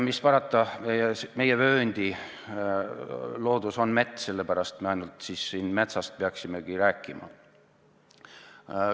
Mis parata, meie vööndi loodus on mets, sellepärast me ainult metsast peaksimegi rääkima.